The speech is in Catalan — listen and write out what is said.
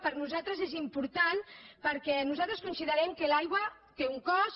per nosaltres és important perquè nosaltres considerem que l’aigua té un cost